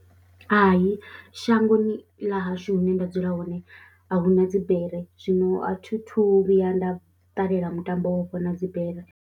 Hai, shangoni ḽa hashu hune nda dzula hone a hu na dzibere zwino a thi thu vhuya nda ṱalela mutambo wo afho na dzibere.